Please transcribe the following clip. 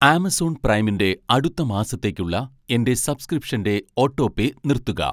Amazon പ്രൈമിൻ്റെ അടുത്ത മാസത്തേക്കുള്ള എൻ്റെ സബ്‌സ്‌ക്രിപ്ഷൻ്റെ ഓട്ടോപേ നിർത്തുക.